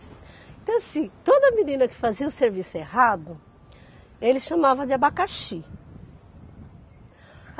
Então assim, toda menina que fazia o serviço errado, ele chamava de abacaxi.